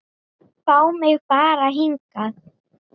Fá mig bara hingað.